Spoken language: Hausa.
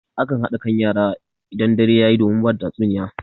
A kan haɗa kan yara idan dare yayi domin bada tatsuniya.